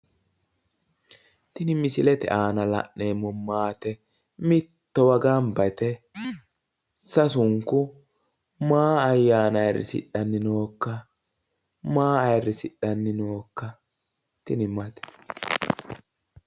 tini misilete aana la'neemmo maate mittowa ganba yite sasunku maa ayyaana ayiirrisidhanni nookka? Maa ayiirrisidhanni nookka tini maate?